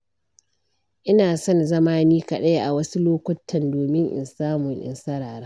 ina son zama ni kaɗai a wasu lokutan, domin in samu in sarara.